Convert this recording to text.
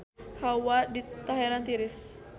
Hawa di Teheran tiris